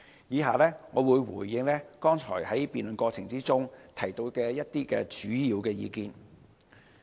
以下，我會回應剛才議員在辯論過程中提到的主要意見。